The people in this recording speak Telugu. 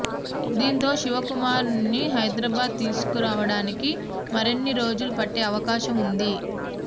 దీంతో శివకుమార్ను హైదరాబాదు తీసుకు రావడానికి మరిన్ని రోజులు పట్టే అవకాశం ఉంది